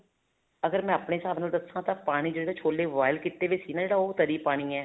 ਅਗਰ ਮੈਂ ਆਪਣੇ ਹਿਸਾਬ ਨਾਲ ਰੱਖਾਂ ਤਾਂ ਪਾਣੀ ਜਿਹੜੇ ਛੋਲੇ boil ਕੀਤੇ ਵੀ ਸੀ ਨਾ ਉਹ ਤਰੀ ਪਾਣੀ ਹੈ